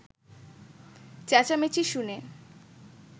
চেঁচামেচি শুনে